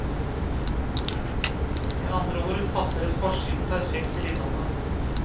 Med andre ord passer forsiden perfekt til innholdet.